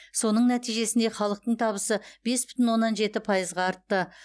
соның нәтижесінде халықтың табысы бес бүтін оннан жеті пайызға артты